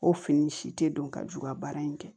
O fini si tɛ don ka ju ka baara in kɛ